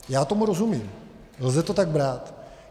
Já tomu rozumím, lze to tak brát.